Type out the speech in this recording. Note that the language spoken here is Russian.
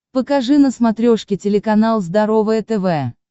покажи на смотрешке телеканал здоровое тв